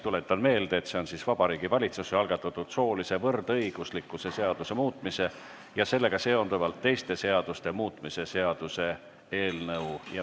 Tuletan meelde, et see on Vabariigi Valitsuse algatatud soolise võrdõiguslikkuse seaduse muutmise ja sellega seonduvalt teiste seaduste muutmise seaduse eelnõu.